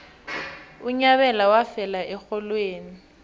unyabela wafela erholweni